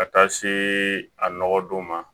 Ka taa se a nɔgɔ don ma